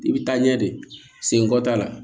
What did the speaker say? I bɛ taa ɲɛ de sen kɔ t'a la